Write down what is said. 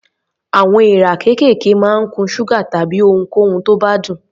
Àwọn èèrà kéékèèké máa ń kun ṣúgà tàbí ohunkóhun tó bá dùn.